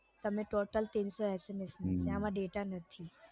તમે તો તીનસો SMS ઇનમાં data નથી